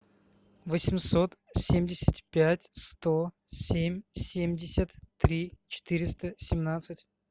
восемьсот семьдесят пять сто семь семьдесят три четыреста семнадцать